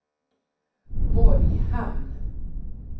Borghamn